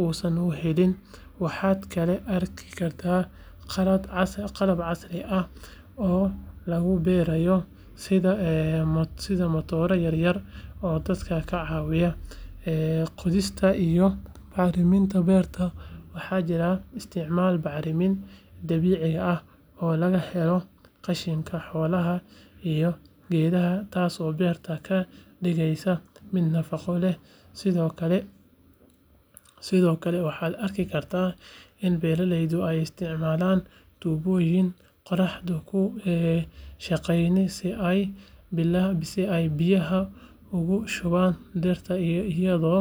uusan u gelin waxaad kaloo arki kartaa qalab casri ah oo lagu beerayo sida matooro yaryar oo dadka ka caawiya qodista iyo bacriminta beerta waxaa jira isticmaalka bacriminta dabiiciga ah oo laga helo qashinka xoolaha iyo geedaha taasoo beerta ka dhigaysa mid nafaqo leh sidoo kale waxaad arki kartaa in beeraleydu ay isticmaalaan tuubooyin qoraxda ku shaqeeya si ay biyaha ugu shubaan dhirta iyadoo